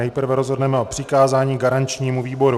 Nejprve rozhodneme o přikázání garančnímu výboru.